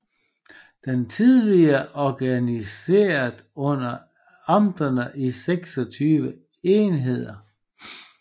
De var tidligere organiseret under amterne i 26 enheder